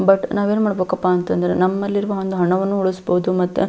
but ನವೆನ್ ಮಾಡ್ಬೇಕಪ್ಪ ಅಂತ ಅಂದ್ರ ನಮ್ಮಲ್ಲಿರುವ ಒಂದು ಹಣವನ್ನು ಉಳಿಸಬಹುದು ಮತ್ತ --